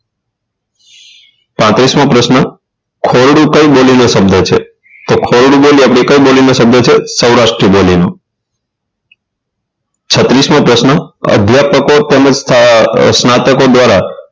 પાંત્રીસ મો પ્રશ્ન ખોરડો કઈ બોલી નો શબ્દ છે તો ખોરડો બોલી આપડે કઈ બોલીનો શબ્દ છે સૌરાષ્ટ્ર બોલીનો છત્રીસ મો પ્રશ્ન અધ્યાપકો તેમજ સ્ના સ્નાતકો દ્વારા